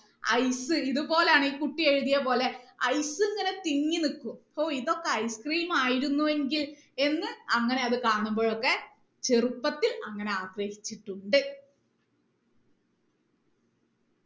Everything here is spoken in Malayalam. ice ഇതുപോലെയാണ് ഈ കുട്ടി എഴുതിയത് പോലെ ice ഇങ്ങനെ തിങ്ങി നിൽക്കും ഹോ ഇതൊക്കെ ice cream ആയിരുന്നു എങ്കിൽ എന്ന് അങ്ങനെ അത് കാണുമ്പോ ഒക്കെ ചെറുപ്പത്തിൽ അങ്ങനെ ആഗ്രഹിച്ചിട്ടുണ്ട്